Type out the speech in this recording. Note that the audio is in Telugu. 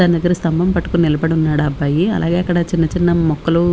దాని దెగ్గర స్థంభం పట్టుకొని నిలబడి ఉన్నాడు ఆ అబ్బాయి అలాగే అక్కడ చిన్న చిన్న మొక్కలు.